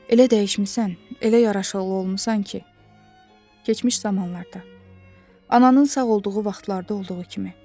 Elə dəyişmisən, elə yaraşıqlı olmusan ki, keçmiş zamanlarda ananın sağ olduğu vaxtlarda olduğu kimi.